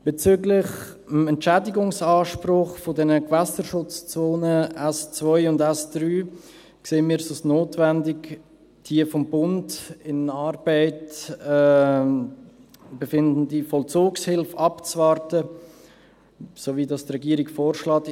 Bezüglich des Entschädigungsanspruchs der Gewässerschutzzonen S2 und S3 erachten wir es als notwendig, die sich in Arbeit befindende Vollzugshilfe des Bundes abzuwarten – so, wie es die Regierung vorschlägt.